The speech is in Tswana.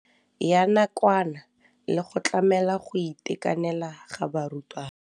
Ya nakwana le go tlamela go itekanela ga barutwana.